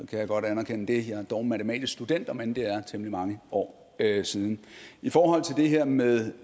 kan jeg godt anerkende det jeg er dog matematisk student om end det er temmelig mange år siden i forhold til det her med